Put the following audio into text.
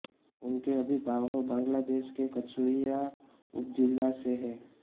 इनके अभिभावक बांग्लादेश के कचुय़ा उपज़िला से हैं